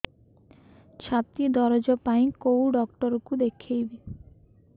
ଛାତି ଦରଜ ପାଇଁ କୋଉ ଡକ୍ଟର କୁ ଦେଖେଇବି